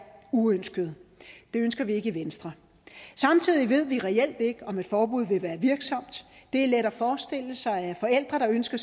uønskede det ønsker vi ikke i venstre samtidig ved vi reelt ikke om et forbud vil være virksomt det er let at forestille sig at forældre der ønsker